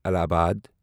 الہ آباد